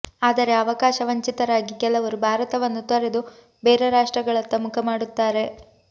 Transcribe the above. ಆದರೆ ಅವಕಾಶ ವಂಚಿತರಾಗಿ ಕೆಲವರು ಭಾರತವನ್ನು ತೊರೆದು ಬೇರೆ ರಾಷ್ಟ್ರಗಳತ್ತ ಮುಖ ಮಾಡುತ್ತಾರೆ